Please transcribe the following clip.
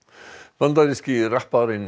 bandaríski rapparinn